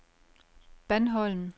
Bandholm